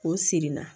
K'o siri n na